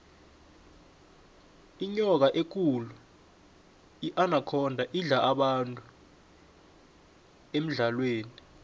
inyoka ekulu inakhonda idla abantu emidlalweni